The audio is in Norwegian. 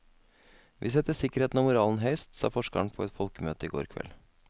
Vi setter sikkerheten og moralen høyst, sa forskeren på et folkemøte i går kveld.